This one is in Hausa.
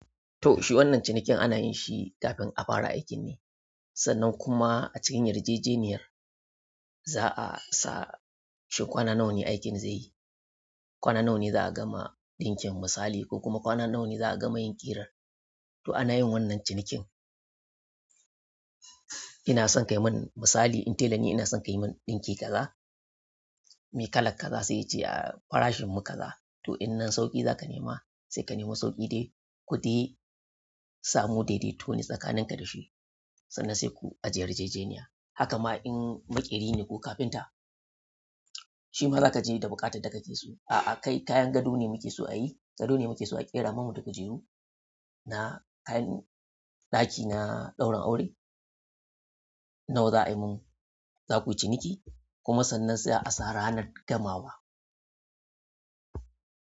To, shi wannan cinikin ana yin shi kafin a fara aikin ne. Sannan kuma a cikin yarjejeniyar za a sa shi kwana nawa ne aikin zai yi, kwana nawa ne za a gama ɗankin misali ko kuma kwana nawa ne za a gama yin ƙirar. To ana yin wannan cinikin. Ina son kayi mun misali in telani ina son ka yi mun ɗinki kaza, me kalar kaza sai ya ce ah farashin mu kaza. Toh in nan sauƙi zaka nema sai ka nema sauƙi dai ku dai samu dai-dai to tsakanin ka dashi sannan sai ku aje yarjejeniya. Haka ma in maƙeri ne ko kafinta, shi ma za ka je da buƙatar da ka ke so. A'a, kai kayan gado ne muke so a yi, gado ne muke so a ƙera mana da kujere na kayan ɗaki na ɗaurin aure. Nawa za a yi mun? Za ku yi ciniki kuma sannan za'a sa ranar gamawa.